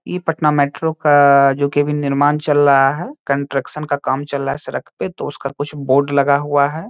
इ पटना मेट्रो का जो की अभी निर्माण चल रहा है कंस्ट्रक्शन का काम चल रहा है सड़क पे तो उसका कुछ बोर्ड लगा हुआ है।